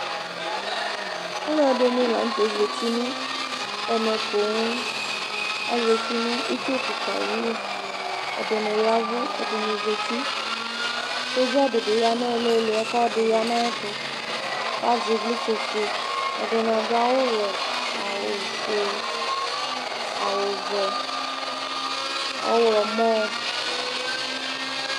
Ɔlɔdɩ nɩ la nʋ tɛ azǝti nʋ ɛmɛ poo Azǝti nʋ itsu kika ayʋ ɩwʋ Ɛdɩnɩ ya ɛvʋ, ɛdɩnɩ zǝti Sɔdza dɩbɩ ya nʋ ilili yɛ, kʋ ɔlɔdɩ ya nʋ ayʋ ɛtʋ Azɛ ivlitsɛfue Ɛdɩnɩ au awuwɛ, awufue, awuvɛ, ɔɣlɔmɔ